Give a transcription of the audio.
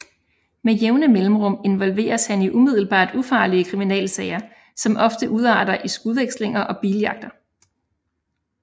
Med jævne mellemrum involveres han i umiddelbart ufarlige kriminalsager som ofte udarter i skudvekslinger og biljagter